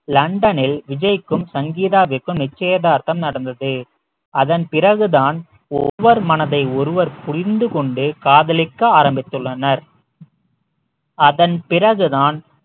லண்டனில் விஜய்க்கும் சங்கீதாவிற்கும் நிச்சயதார்த்தம் நடந்தது அதன் பிறகு தான் ஒருவர் மனதை ஒருவர் புரிந்து கொண்டு காதலிக்க ஆரம்பித்துள்ளனர் அதன் பிறகு தான்